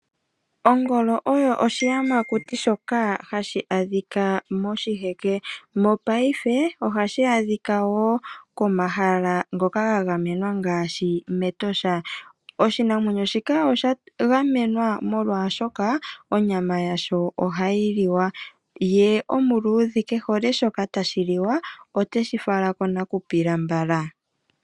Ongolo oyo oshiyamakuti shoka hashi adhika moshiheke, mopaife ohashi adhika wo komahala ngoka ga gamenwa ngaashi mEtosha. Oshinamwenyo shika osha gamenwa molwaashoka onyama yasho ohayi liwa , ye omaluudhe ke hole shoka tashi liwa oteshi fala konakupila mbala.